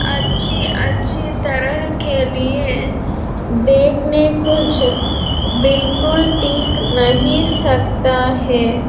अच्छी अच्छी तरह के लिए देखने कुछ बिलकुल टिक नहीं सकता है।